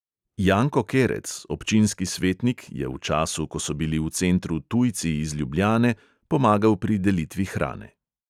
Janko kerec, občinski svetnik, je v času, ko so bili v centru tujci iz ljubljane, pomagal pri delitvi hrane.